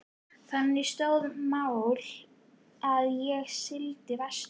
Þannig stóðu mál þegar ég sigldi vestur.